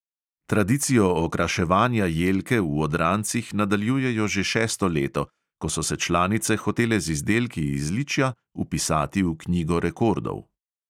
Tradicijo okraševanja jelke v odrancih nadaljujejo že šesto leto, ko so se članice hotele z izdelki iz ličja vpisati v knjigo rekordov.